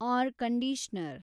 R conditioner